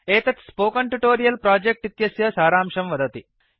एतत् spoken tutorial project इत्यस्य सारांशं दर्शयति